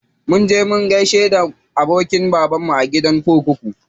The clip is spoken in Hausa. Mun je mun gaida abokin babanmu a gidan kurkuku.